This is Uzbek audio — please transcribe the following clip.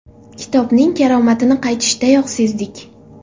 Kitobning karomatini qaytishdayoq sezdik.